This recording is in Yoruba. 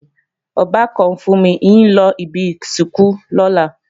Ọbàkan Fúnmi ń lọ ibi ìsìnkú lọ́la